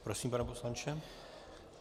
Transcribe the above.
Prosím, pane poslanče.